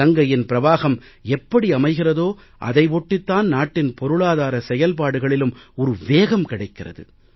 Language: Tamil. கங்கையின் பிரவாஹம் எப்படி அமைகிறதோ அதை ஒட்டித்தான் நாட்டின் பொருளாதார செயல்பாடுகளிலும் ஒரு வேகம் கிடைக்கிறது